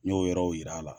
N y'o yɔrɔw yira a la